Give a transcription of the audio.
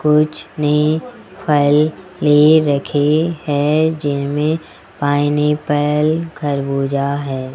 कुछ ने फल ले रखी है जिनमें पाइनएप्पल खरबूजा है।